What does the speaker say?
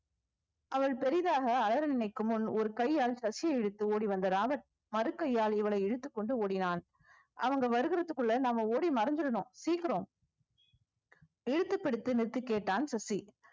அவள் பெரிதாக அலற நினைக்கும் முன் ஒரு கையால் சசியை இழுத்து ஓடி வந்த ராபட் மறு கையால் இவளை இழுத்துக்கொண்டு ஓடினான் அவங்க வருகிறத்துக்குள்ள நம்ம ஓடி மறைஞ்சிடணும் சீக்கிரம் இழுத்து பிடித்து நிறுத்திக் கேட்டான் சசி